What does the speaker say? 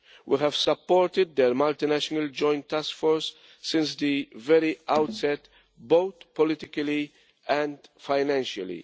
We have supported their multinational Joint Task Force since the very outset, both politically and financially.